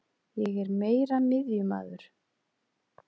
Ég er meira miðjumaður.